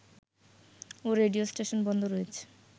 ও radio station বন্ধ রয়েছে